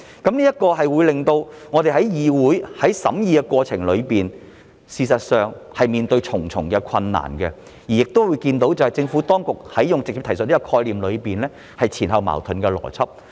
這做法會令到議會在審議過程中面對重重困難，亦會看到政府當局在直接提述的概念上運用了前後矛盾的邏輯。